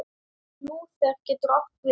Lúther getur átt við